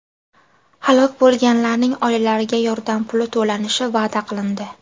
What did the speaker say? Halok bo‘lganlarning oilalariga yordam puli to‘lanishi va’da qilindi.